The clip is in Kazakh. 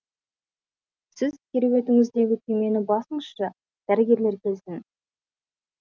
сіз кереуетіңіздегі түймені басыңызшы дәрігерлер келсін